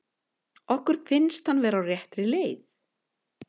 Okkur finnst hann vera á réttri leið.